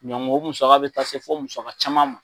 o musaka bɛ taa se fo musaka caman ma.